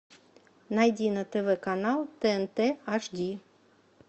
найди на тв канал тнт аш ди